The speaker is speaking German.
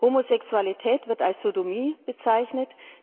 Homosexualität wird als Sodomie bezeichnet.